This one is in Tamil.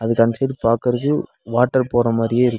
இது அந்த சைடு பாக்கற்துக்கு வாட்டர் போற மாரியே இருக்கு.